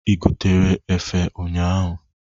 Ị gotere efe ụnyaahụ?